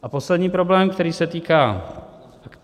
A poslední problém, který se týká...